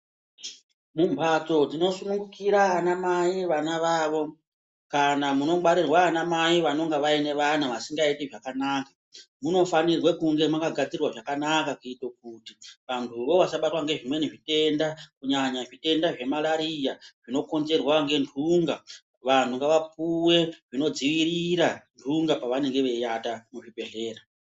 Mumhatso tinosungira anamai vanavavo kana munongwarirwa anamai vanonga vaine vana vasingaiti zvakanaka , munofanirwe kunge mwakagadzirwa zvakanaka kuite kuti antu wo vasabatwa ngezvimwe ngezvitenda kunyanya zvitenda zveMalaria zvinonzerwa ngenhunga , vanhu ngavapuwe zvinodziirira nhunga pavanenge veiiata muzvibhedhleya